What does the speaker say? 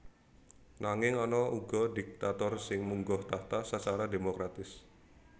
Nanging ana uga diktator sing munggah tahta sacara démokratis